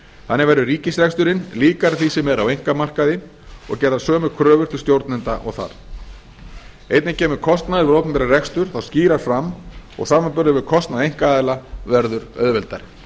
þannig verði ríkisreksturinn líkari því sem er á einkamarkaði og gerðar sömu kröfur til stjórnenda og þar einnig kemur kostnaður við opinbera rekstur þá skýrar fram og samanburður við kostnað einkaaðila verður auðveldari